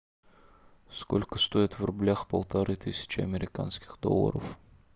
сколько стоит в рублях полторы тысячи американских долларов